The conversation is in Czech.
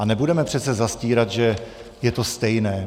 A nebudeme přece zastírat, že je to stejné.